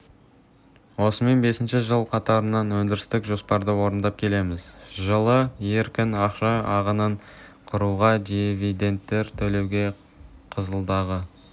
осымен бесінші жыл қатарынан өндірістік жоспарды орындап келеміз жылы еркін ақша ағынын құруға дивидендтер төлеуге қызылдағы